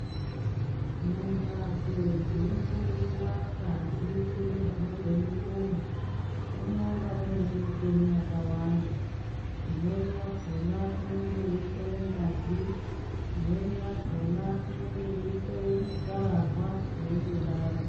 Mumbatso dzino hloyiwa ngazi ne zvinobve mu muntu munonga muine micheni yakawanda imweni yakona inonge yei hloya ngazi imweni yakona inonga yei hloya ma karahwa zveingo daro.